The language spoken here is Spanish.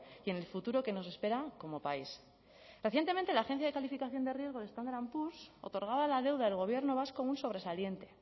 y en el futuro que nos espera como país recientemente la agencia de calificación de riesgo standard poors otorgaba a la deuda del gobierno vasco un sobresaliente